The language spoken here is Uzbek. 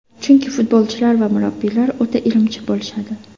Chunki futbolchilar va murabbiylar o‘ta irimchi bo‘lishadi.